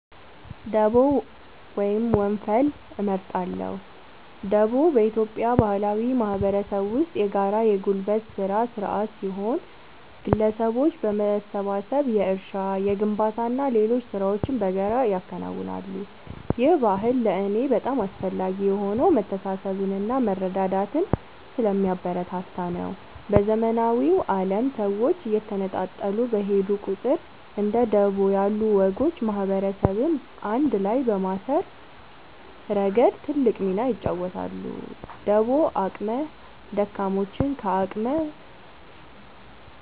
ደቦ ወይም ወንፈል እመርጣለሁ። ደቦ በኢትዮጵያ ባህላዊ ማህበረሰብ ውስጥ የጋራ የጉልበት ሥራ ሥርዓት ሲሆን፣ ግለሰቦች በመሰባሰብ የእርሻ፣ የግንባታና ሌሎች ሥራዎችን በጋራ ያከናውናሉ። ይህ ባህል ለእኔ በጣም አስፈላጊ የሆነው መተሳሰብንና መረዳዳትን ስለሚያበረታታ ነው። በዘመናዊው ዓለም ሰዎች እየተነጣጠሉ በሄዱ ቁጥር፣ እንደ ደቦ ያሉ ወጎች ማህበረሰብን አንድ ላይ በማሰር ረገድ ትልቅ ሚና ይጫወታሉ። ደቦ አቅመ ደካሞችን ከአቅመ